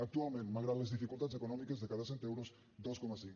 actualment malgrat les dificultats econòmiques de cada cent euros dos coma cinc